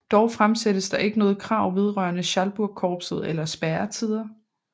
Dog fremsættes der ikke noget krav vedrørende Schalburgkorpset eller spærretider